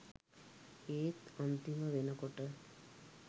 ඒත් අන්තිම වෙනකොට